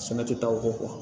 Sɛnɛ tɛ taa o kɔ